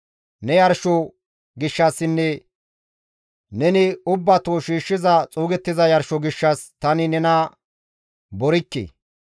Ne yarsho gishshassinne neni ubbato shiishshiza xuugettiza yarsho gishshas tani nena borikke.